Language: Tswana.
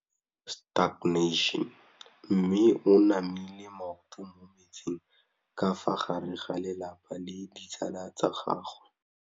Mme o namile maoto mo mmetseng ka fa gare ga lelapa le ditsala tsa gagwe.